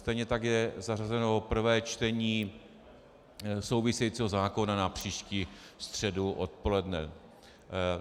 Stejně tak je zařazeno prvé čtení souvisejícího zákona na příští středu odpoledne.